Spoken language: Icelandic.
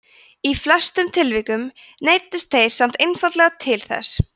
í flestum tilvikum neyddust þeir samt einfaldlega til þess